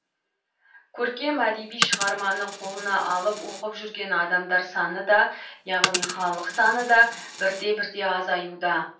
көркем әдеби шығарманы қолына алып оқып жүрген адамдар саны да яғни халық саны да бірте бірте азаюда